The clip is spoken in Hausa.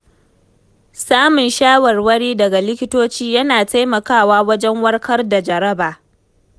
Samun shawarwari daga likitoci yana taimakawa wajen warkar da jaraba.